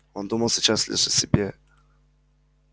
он думал сейчас лишь о себе